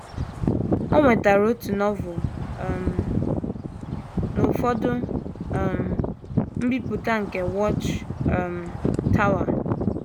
O nwetara otu Novel um na ụfọdụ um mbipụta nke Watch um Tower.